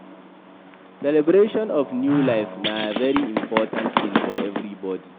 Celebration of a new life na very important thing for everybody